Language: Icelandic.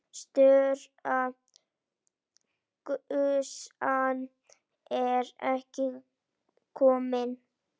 Stóra gusan er ekki komin.